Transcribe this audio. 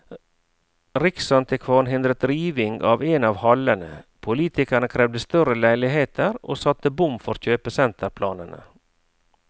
Riksantikvaren hindret riving av en av hallene, politikerne krevde større leiligheter og satte bom for kjøpesenterplanene.